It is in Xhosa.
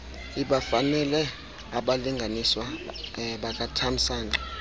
ibafanele abalinganiswa bakatamsanqa